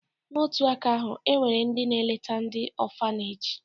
N'otu aka ahụ, e nwere ndị na-eleta ndị ọfaneji